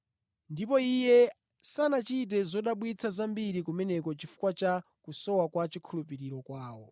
Ndipo Iye sanachite zodabwitsa zambiri kumeneko chifukwa cha kusowa kwa chikhulupiriro kwawo.